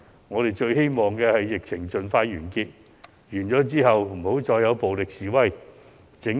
我們最希望疫情盡快完結，其後再也沒有暴力示威。